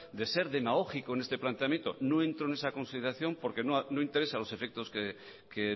de ser demagógico en este planteamiento no entro en esa consideración porque no interesa a los efectos que